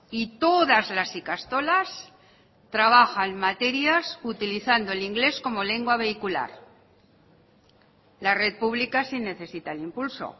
y todas las ikastolas trabajan materias utilizando el inglés como lengua vehicular la red pública sí necesita el impulso